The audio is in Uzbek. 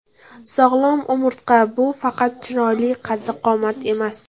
Sog‘lom umurtqa – bu faqat chiroyli qaddi-qomat emas.